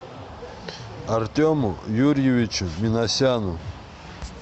артему юрьевичу минасяну